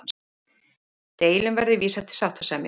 Deilum verði vísað til sáttasemjara